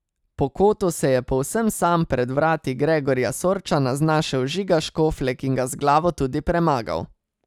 Po kotu se je povsem sam pred vrati Gregorja Sorčana znašel Žiga Škoflek in ga z glavo tudi premagal.